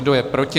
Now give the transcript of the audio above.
Kdo je proti?